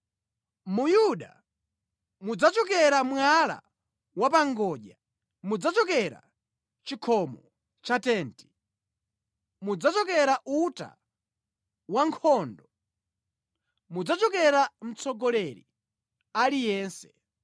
Mu Yuda mudzachokera mwala wapangodya, mudzachokera chikhomo cha tenti, mudzachokera uta wankhondo, mudzachokera mtsogoleri aliyense.